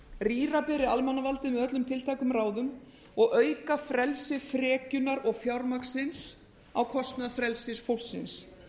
rýra beri almannavaldið með öllum tiltækum ráðum og auka frelsi frekjunnar og fjármagnsins á kostnað frelsis fólksins